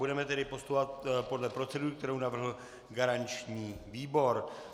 Budeme tedy postupovat podle procedury, kterou navrhl garanční výbor.